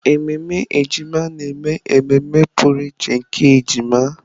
Ememe ejima na-eme ememe pụrụ iche nke ọmụmụ ejima.